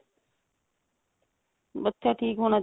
ਬੱਚਾ ਠੀਕ ਹੋਣਾ